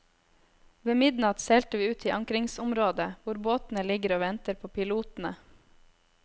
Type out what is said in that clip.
Ved midnatt seilte vi ut til ankringsområdet hvor båtene ligger og venter på pilotene.